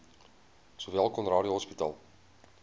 sowel conradie hospitaal